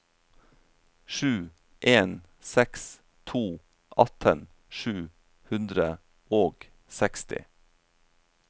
sju en seks to atten sju hundre og seksti